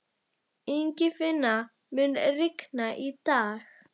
Ingifinna, mun rigna í dag?